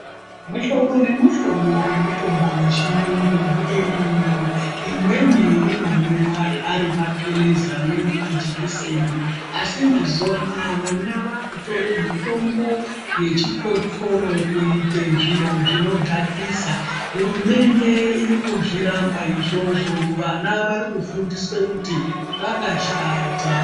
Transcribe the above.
Muhlobo nemuhlobo yemutombo yechirungu iriyo imweni i omwiwa ari mapilizi amweni majikiseni asi mazuwa anaya ana akutore mutombo wechikosoro kuite zviro zvinodhakaisa hurumende iri kuzviramba izvozvo vana vari kufundiswe kuti zvakashata.